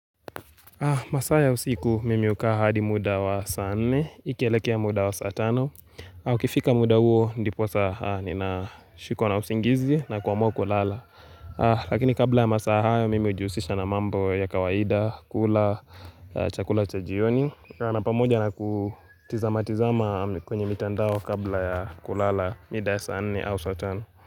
Masaa ya usiku, mimi ukaa hadi muda wa saa nne, ikielekea muda wa saa tano. Na ukifika muda huo, ndiposa nina shikwa na usingizi na kuamua lala. Lakini kabla ya masaa hayo, mimi ujiusisha na mambo ya kawaida, kula, chakula cha jioni. Na pamoja na kutizama tizama kwenye mitandao kabla ya kulala midaa saa nne au saa tano.